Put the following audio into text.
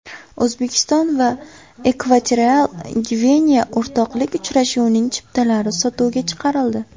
O‘zbekiston va Ekvatorial Gvineya o‘rtoqlik uchrashuvining chiptalari sotuvga chiqarildi.